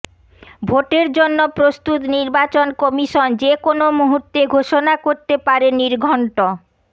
ভোটের জন্য প্রস্তুত নির্বাচন কমিশন যে কোন মুহূর্তে ঘোষণা করতে পারে নির্ঘন্ট